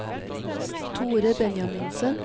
Thore Benjaminsen